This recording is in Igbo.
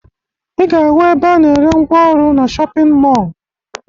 Ị ga-ahụ ebe a na-erw ngwa ọrụ na shọpịn mọọ